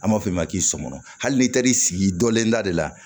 An b'a fɔ ma k'i sɔmɔnɔ hali n'i taar'i sigi dɔlenda de la